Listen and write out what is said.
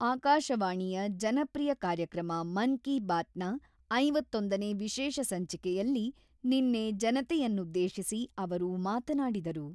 ಆಕಾಶವಾಣಿಯ ಜನಪ್ರಿಯ ಕಾರ್ಯಕ್ರಮ 'ಮನ್ ಕಿ ಬಾತ್‌'ನ ಐವತ್ತೊಂದು ನೇ ವಿಶೇಷ ಸಂಚಿಕೆಯಲ್ಲಿ ನಿನ್ನೆ ಜನತೆಯನ್ನುದ್ದೇಶಿಸಿ ಅವರು ಮಾತನಾಡಿದರು.